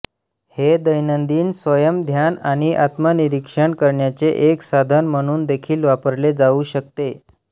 हे दैनंदिन स्वयंध्यान आणि आत्मनिरीक्षण करण्याचे एक साधन म्हणून देखील वापरले जाऊ शकते